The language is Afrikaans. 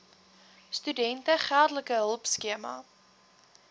studente geldelike hulpskema